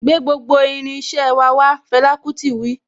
Gbé gbogbo irin iṣẹ́ wà wá' Fẹlà kútì wí.